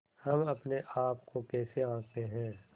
हम अपने आप को कैसे आँकते हैं